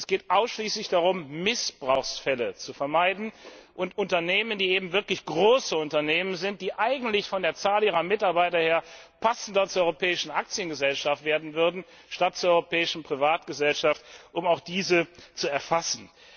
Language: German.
Es geht ausschließlich darum, Missbrauchsfälle zu vermeiden und Unternehmen, die wirklich große Unternehmen sind und die eigentlich von der Zahl ihrer Mitarbeiter her passender zur Europäischen Aktiengesellschaft statt zur Europäischen Privatgesellschaft werden würden, ebenfalls zu erfassen.